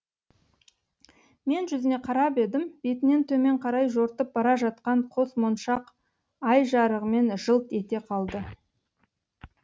мен жүзіне қарап едім бетінен төмен қарай жортып бара жатқан қос моншақ ай жарығымен жылт ете қалды